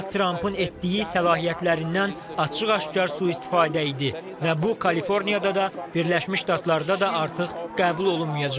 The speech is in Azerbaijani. Donald Trampın etdiyi səlahiyyətlərindən açıq-aşkar sui-istifadə idi və bu Kaliforniyada da, Birləşmiş Ştatlarda da artıq qəbul olunmayacaq.